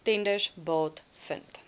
tenders baat vind